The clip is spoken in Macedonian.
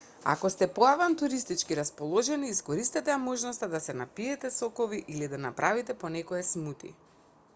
ако сте поавантуристички расположени искористете ја можноста да се напиете сокови или да направите по некое смути